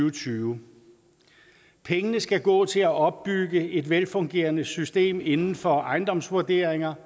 og tyve pengene skal gå til at opbygge et velfungerende system inden for ejendomsvurderinger